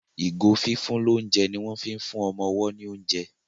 ìgò fífún l'ounjẹ ní wón fín fún ọmọ ọwo ní oúnjẹ.